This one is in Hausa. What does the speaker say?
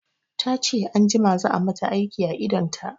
Tace anjima za a mata aiki a idonta